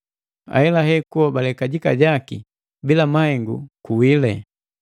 Ahelahela, kuhobale kajika jaki bila mahengu, kuwile.